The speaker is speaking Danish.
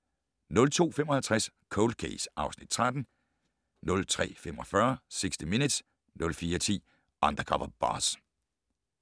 02:55: Cold Case (Afs. 13) 03:45: 60 Minutes 04:10: Undercover Boss